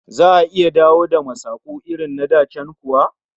Za'a iya dawo da masaku irin da can kuwa?